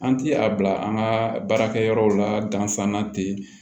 An ti a bila an ka baarakɛyɔrɔw la dansan te